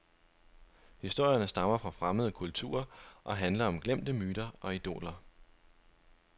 Historierne stammer fra fremmede kulturer og handler om glemte myter og idoler.